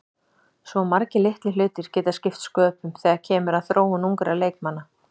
Svo margir litlir hlutir geta skipt sköpum þegar kemur að þróun ungra leikmanna.